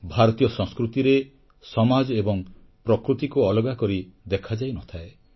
ଭାରତୀୟ ସଂସ୍କୃତିରେ ସମାଜ ଏବଂ ପ୍ରକୃତିକୁ ଅଲଗା କରି ଦେଖାଯାଇ ନଥାଏ